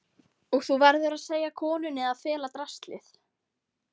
Og þú verður að segja konunni að fela draslið.